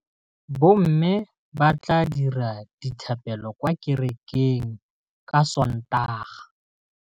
Bommê ba tla dira dithapêlô kwa kerekeng ka Sontaga.